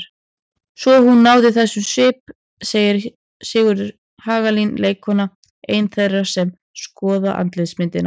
Svo hún náði þessum svip segir Sigríður Hagalín leikkona, ein þeirra sem skoða andlitsmyndina.